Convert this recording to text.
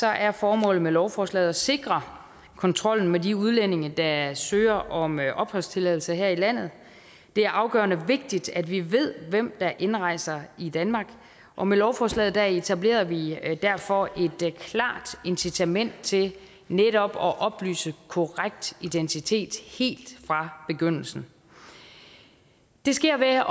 er formålet med lovforslaget at sikre kontrollen med de udlændinge der søger om opholdstilladelse her i landet det er afgørende vigtigt at vi ved hvem der indrejser i danmark og med lovforslaget etablerer vi derfor et klart incitament til netop at oplyse korrekt identitet helt fra begyndelsen det sker ved at